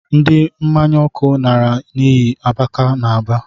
Ndi mmanya ọkụ nara n’iyi abaka n’Aba